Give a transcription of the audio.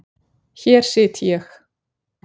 Hér sit ég.